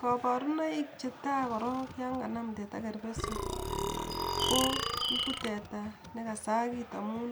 Kaborunoik cheta korok yon kanam teta kerbesik ko igu teta nekasagit amun